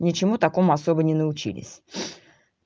ничему такому особо не научились